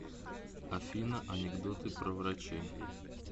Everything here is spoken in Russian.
афина анекдоты про врачей